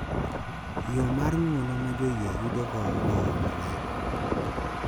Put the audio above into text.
Yo mar ng’uono ma joyie yudogo Roho Maler.